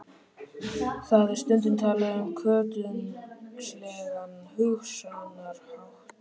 Það er stundum talað um kotungslegan hugsunarhátt.